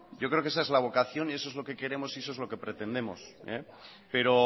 yo creo que esa es la vocación y eso es lo queremos y eso es lo que pretendemos pero